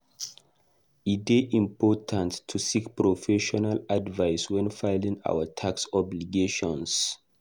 E dey important to seek professional advice when filing our tax obligations.